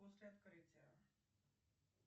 после открытия